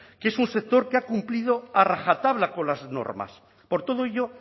que es un sector que ha cumplido a rajatabla con las normas por todo ello